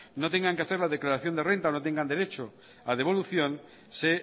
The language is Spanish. no tengan que hacer la declaración de renta o no tengan derecho a devolución se